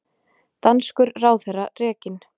Danskur ráðherra rekinn